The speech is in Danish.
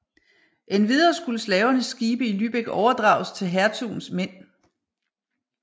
Endvidere skulle slavernes skibe i Lübeck overdrages til hertugens mænd